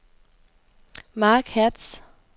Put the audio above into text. Marc Hertz